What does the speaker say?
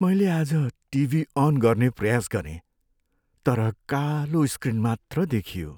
मैले आज TV on गर्ने प्रयास गरेँ तर कालो स्क्रिन मात्र देखियो।